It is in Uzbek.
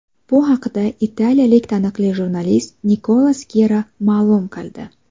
Bu haqida italiyalik taniqli jurnalist Nikola Skira ma’lum qildi .